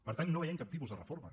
per tant no veiem cap tipus de reforma